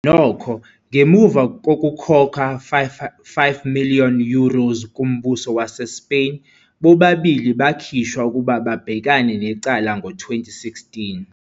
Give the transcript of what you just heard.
Nokho, ngemuva kokukhokha 5 million euros kuMbuso waseSpain, bobabili bakhishwa ukuba babhekane necala ngo-2016.